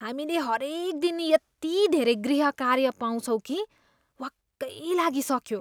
हामीले हरेक दिन यति धेरै गृहकार्य पाउँछौँ कि वाक्कै लागिसक्यो।